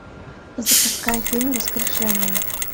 запускай фильм воскрешение